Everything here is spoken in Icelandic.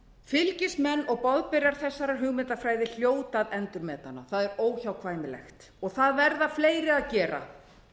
fylgismenn og boðberar þessarar hugmyndafræði hljóta að endurmeta hana það er óhjákvæmilegt og það verða fleiri að gera